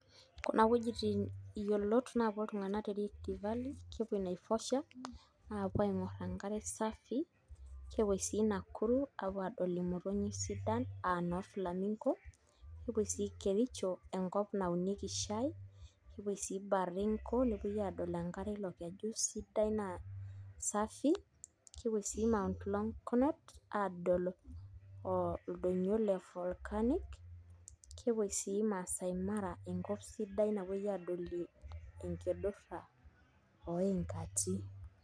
Kuna wuejitin yiolot naapuo iltung'anak te Rift Valley, kepuoi Naivasha aapuo aing'orr enkare safi kepuoi sii Nakuru aapuo aing'orr aapuo aadol imotonyik sidan aa noo Flamingo, nepuoi sii Kericho enkop naunieki shaai nepuo sii Baringo, nepuoi aadol enkare ilo keju sidai naa safi kepuoi sii Mount Longonot aadol ildoinyio le Volcanic, kepuoi sii Maasai Mara enkop sidai napuoi aadolie enkidurra oo inkati.